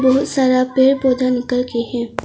बहुत सारा पेड़ पौधा निकल गई है।